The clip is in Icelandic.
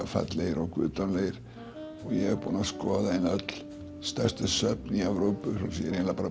fallegir og guðdómlegir ég er búinn að skoða öll stærstu söfn í Evrópu ég er eiginlega